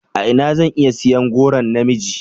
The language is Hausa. A ina zan iya siyan goron na miji?